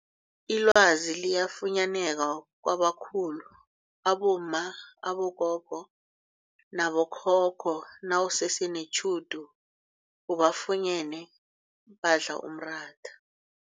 Ilwazi liyafunyaneka kwabakhulu abomma, abogogo nabo khokho nawusese netjhudu ubafunyene badla umratha.